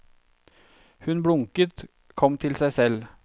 Hun blunket, kom til seg selv.